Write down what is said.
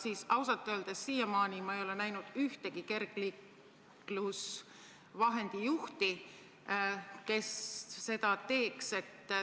Ma ausalt öeldes ei ole siiamaani näinud ühtegi kergliiklusvahendi juhti, kes seda teeks.